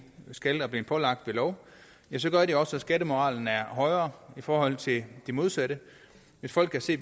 skal og er blevet pålagt ved lov gør det også at skattemoralen er højere i forhold til det modsatte hvis folk kan se